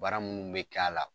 Bara minnu bɛ kɛ a la